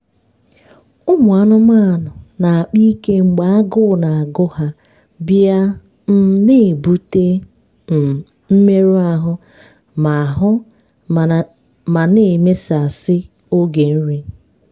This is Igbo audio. ụmụ anụmanụ na-akpa ike mgbe agụụ na-agụ ha bịa um na-ebute um mmerụ ahụ ma ahụ ma na emesasị oge nri.